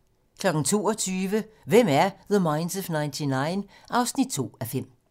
22:00: Hvem er The Minds of 99? 2:5